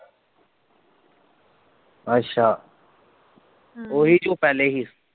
ਅੱਛਾ ਹਮ ਉਹੀ ਜੋ ਪਹਿਲੇ ਸੀਂ?